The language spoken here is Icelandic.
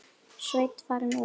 Sveinn farinn út?